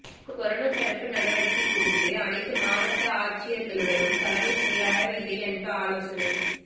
corona தடுப்பு நடவடிக்கை குறித்து அனைத்து மாவட்ட ஆட்சியர்களுடன் தலைமை செயலாளர் இறையன்பு ஆலோசனை